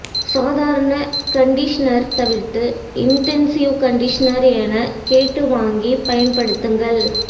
சாதாரண கண்டிஷனர் தவிர்த்து intensive conditioner எனக் கேட்டு வாங்கிப் பயன்படுத்துங்கள்